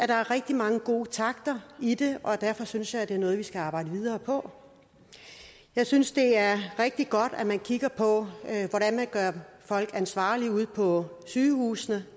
der er rigtig mange gode takter i det og derfor synes jeg det er noget vi skal arbejde videre på jeg synes det er rigtig godt at man kigger på hvordan man gør folk ansvarlige ude på sygehusene